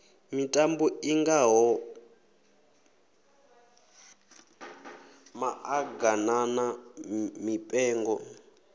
mitambo i ngaho maḓaganana mipengo